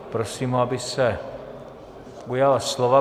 Prosím ho, aby se ujal slova.